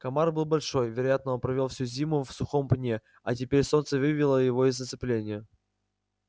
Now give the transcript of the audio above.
комар был большой вероятно он провёл всю зиму в сухом пне а теперь солнце вывело его из оцепенения